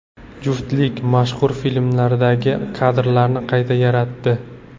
Juftlik mashhur filmlardagi kadrlarni qayta yaratdi.